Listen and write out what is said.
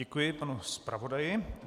Děkuji panu zpravodaji.